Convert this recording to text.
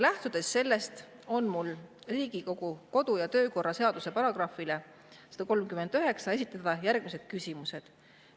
Lähtudes sellest, on mul Riigikogu kodu- ja töökorra seaduse § 139 alusel esitada järgmised küsimused.